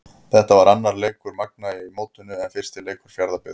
Þetta var annar leikur Magna í mótinu en fyrsti leikur Fjarðabyggðar.